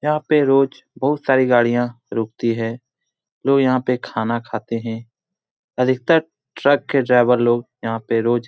यहाँ पे रोज बहुत सारी गाड़िया रुकती है। लोग यहाँ पे खाना खाते है। अधिकतर ट्रक के ड्राइवर लोग यहाँ पे रोज --